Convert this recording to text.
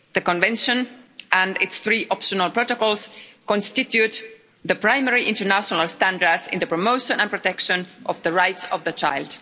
The Convention and its three optional protocols constitute the primary international standards in the promotion and protection of the rights of the child.